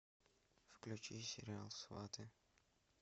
включи сериал сваты